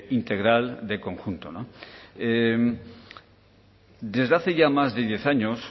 integral de conjunto desde hace ya más de diez años